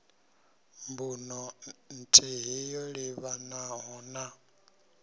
mbuno nthihi yo livhanaho na